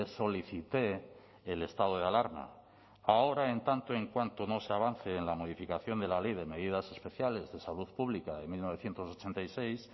solicité el estado de alarma ahora en tanto en cuanto no se avance en la modificación de la ley de medidas especiales de salud pública de mil novecientos ochenta y seis